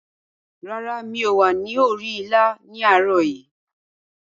Rárá, mi ò wà ní orí ìlà ní àárọ̀ yìí.